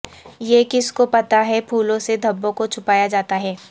یہ کس کو پتہ ہے پھولوں سے دھبوں کو چھپایا جاتا ہے